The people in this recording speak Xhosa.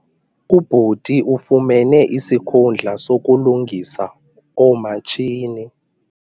Ubhuti ufumene isikhundla sokulungisa oomatshini.